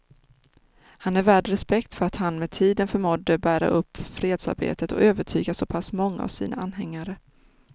Han är värd respekt för att han med tiden förmådde bära upp fredsarbetet och övertyga så pass många av sina anhängare.